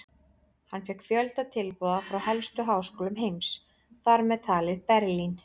Hann fékk fjölda tilboða frá helstu háskólum heims, þar með talið Berlín.